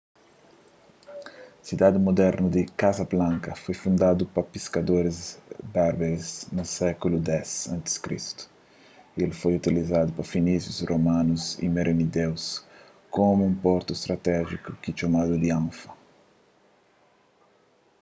sidadi mudernu di casablanca foi fundadu pa piskadoris berberes na sékulu x a.c. y el foi utilizadu pa finísius romanus y merenídeus komu un portu stratéjiku ki txomadu di anfa